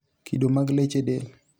kido mag leche del